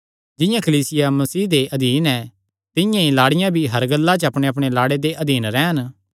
जिंआं कलीसिया मसीह दे अधीन हन तिंआं ई लाड़ियां भी हर गल्ला च अपणेअपणे लाड़े दे अधीन रैह़न